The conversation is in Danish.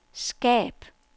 skab